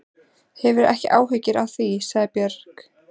Hafðu ekki áhyggjur af því, sagði Björg.